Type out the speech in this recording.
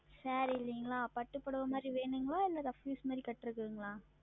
Saree இல்லைங்களா பட்டுப்புடவை மாதிரி வேணுங்களா இல்ல Rough Use மாறி கட்றது வேணுங்ளா?